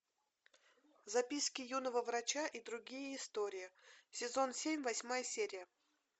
записки юного врача и другие истории сезон семь восьмая серия